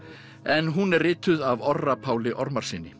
en hún er rituð af Orra Páli